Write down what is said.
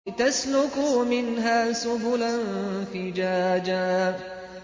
لِّتَسْلُكُوا مِنْهَا سُبُلًا فِجَاجًا